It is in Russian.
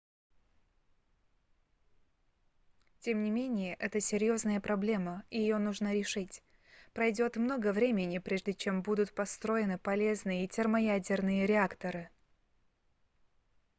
тем не менее это серьезная проблема и ее нужно решить пройдет много времени прежде чем будут построены полезные термоядерные реакторы